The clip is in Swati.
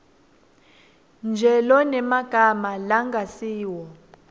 nje lonemagama langasiwo